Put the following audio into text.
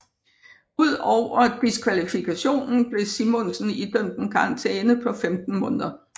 Ud over diskvalifikationen blev Simonsen idømt en karantæne på 15 måneder